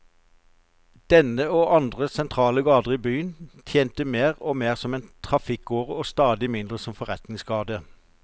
Denne, og andre sentrale gater i byen, tjente mer og mer som en trafikkåre og stadig mindre som forretningsgate.